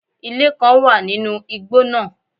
Ilé kán wà nínú igbó náà